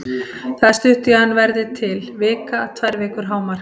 Það er stutt í að hann verði til, vika, tvær vikur hámark.